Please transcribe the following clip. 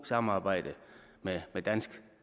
samarbejde med dansk